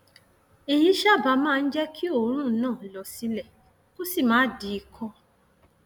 èyí sábà máa ń jẹ kí òórùn náà lọ sílẹ kó má sì di ikọ